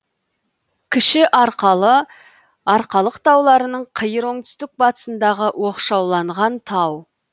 кіші арқалы арқалық тауларының қиыр оңтүстік батысындағы оқшауланған тау